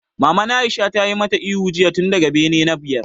Maman Aisha ta yi ma ta ihu jiya tun daga bene na biyar!